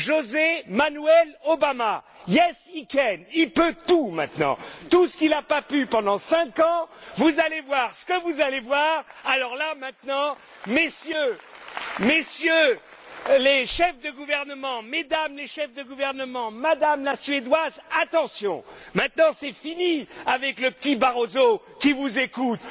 José Manuel Obama Yes, he can! Il peut tout maintenant, tout ce qu'il n'a pas pu pendant cinq ans, vous allez voir ce que vous allez voir, alors là, maintenant, Messieurs les chefs de gouvernement, Mesdames les chefs de gouvernement, Madame la Suédoise, attention, maintenant c'est fini avec le petit Barroso qui vous écoute.